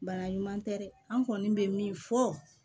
Bana ɲuman tɛ dɛ an kɔni bɛ min fɔ